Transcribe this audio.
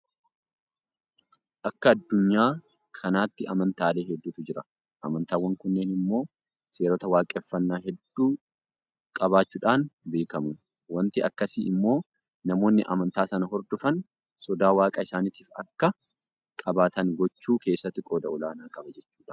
Akka addunyaa kanaatti amantaalee hedduutu jira. Amantaawwan kunneen immoo seerota waaqeffannaa hedduu qabaachuudhaan beekamu. Waanti akkasii immoo namoonni amantaa sana hordofan sodaa waaqa isaaniitiif akka qabaatan gochuu keessatti qooda olaanaa qaba jechuudha.